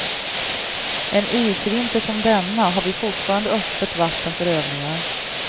En isvinter som denna har vi fortfarande öppet vatten för övningar.